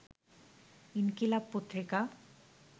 ইনকিলাব পত্রিকা